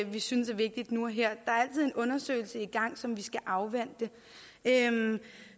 vi synes er vigtigt nu og her der er altså en undersøgelse i gang som vi skal afvente